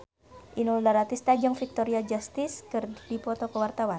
Inul Daratista jeung Victoria Justice keur dipoto ku wartawan